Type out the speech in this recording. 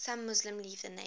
some muslims leave the name